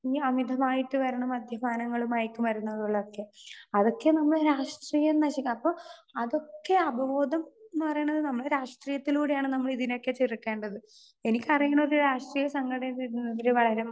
Speaker 2 ഈ അമിതമായിട്ട് വരുന്ന മദ്യപാനങ്ങള് മയക്കുമരുന്നുകളൊക്കെ. അതൊക്കെ നമ്മടെ രാഷ്ട്രീയം നശിക്കും. അപ്പോ അതൊക്കെ അവബോധം എന്ന് പറയണത് നമ്മടെ രാഷ്ട്രീയത്തിലൂടെയാണ് നമ്മള് ഇതിനെയൊക്കെ ചുരുക്കേണ്ടത്. എനിക്ക് അറിയണത് രാഷ്ട്രീയ സംഘടനതിരായാലും